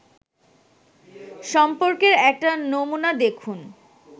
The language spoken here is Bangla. সম্পর্কের একটা নমুনা দেখুন